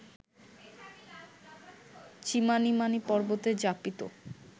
Chimanimani পর্বতে যাপিত